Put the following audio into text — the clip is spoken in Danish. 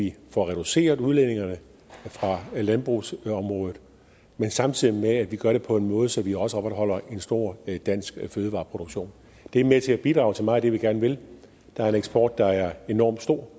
vi får reduceret udledningerne fra landbrugsområdet men samtidig med det skal vi gøre det på en måde så vi også opretholder en stor dansk fødevareproduktion det er med til at bidrage til meget af det vi gerne vil der er en eksport der er enormt stor